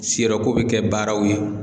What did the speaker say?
Si yɔrɔ ko bɛ kɛ baaraw ye.